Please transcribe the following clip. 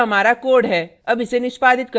यह हमारा code है अब इसे निष्पादित करते हैं